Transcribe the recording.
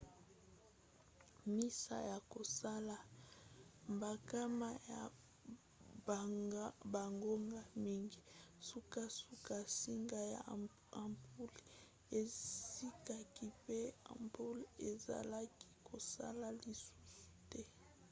nsima ya kosala bankama ya bangonga mingi sukasuka nsinga ya ampule ezikaki mpe ampule ezalaki kosala lisusu te